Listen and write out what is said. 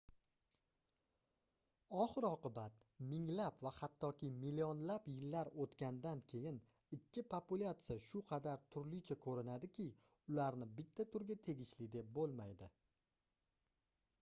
oxir-oqibat minglab va hattoki millionlab yillar oʻtgandan keyin ikki populatsiya shu qadar turlicha koʻrinadiki ularni bitta turga tegishli deb boʻlmaydi